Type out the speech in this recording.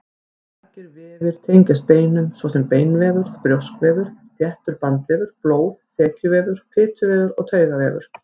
Margir vefir tengjast beinum, svo sem beinvefur, brjóskvefur, þéttur bandvefur, blóð, þekjuvefur, fituvefur og taugavefur.